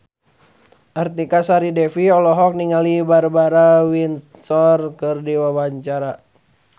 Artika Sari Devi olohok ningali Barbara Windsor keur diwawancara